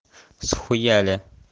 с хуя ли